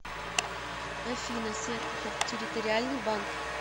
афина серпухов территориальный банк